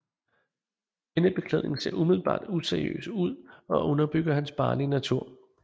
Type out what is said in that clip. Denne beklædning ser umiddelbart useriøs ud og underbygger hans barnlige natur